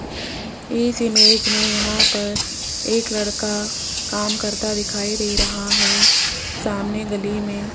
इस इमेज में यहां पर एक लड़का काम करता दिखाई दे रहा है सामने गली में --